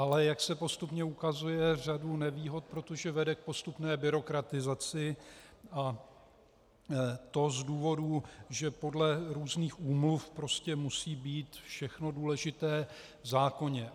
Ale jak se postupně ukazuje, řadu nevýhod, protože vede k postupné byrokratizaci, a to z důvodů, že podle různých úmluv prostě musí být všechno důležité v zákoně.